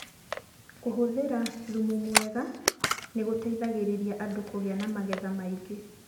kũhũthĩra thumu mwega nĩ gũteithĩtie andũ kũgĩa na magetha maingĩ.